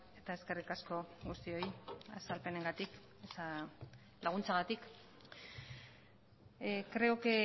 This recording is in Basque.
eta eskerrik asko guztioi azalpenengatik laguntzagatik creo que